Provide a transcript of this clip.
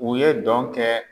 U ye dɔn kɛ.